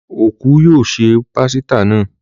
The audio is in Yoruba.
Òkú yóò se pásítà náà.